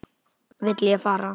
Vil ég fara?